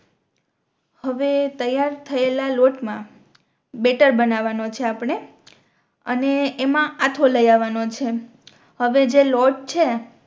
હવે તૈયાર થયેલા લોટ મા બેટર બનવા નો છે આપણે અને એમાં આથો લઈ આવાનો છે હવે જે લોટ છે